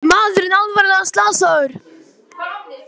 Maðurinn alvarlega slasaður